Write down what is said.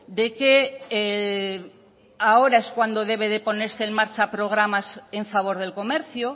de que ahora es cuando debe de ponerse en marcha programas en favor del comercio